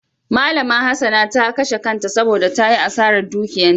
Malama Hassana ta kashe kanta saboda ta yi asarar dukiyanta.